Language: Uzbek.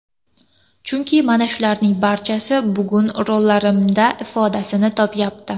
Chunki mana shularning barchasi bugun rollarimda ifodasini topayapti.